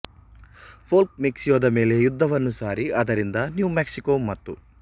Polk ಮೆಕ್ಸಿಕೊದ ಮೇಲೆ ಯುದ್ಧವನ್ನು ಸಾರಿ ಅದರಿಂದ ನ್ಯೂ ಮೆಕ್ಸಿಕೊ ಮತ್ತು